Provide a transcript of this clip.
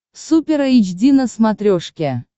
супер эйч ди на смотрешке